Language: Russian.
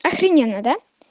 ахрененно да